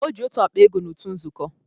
Ọ ji otu akpa ego n'utu nzukọ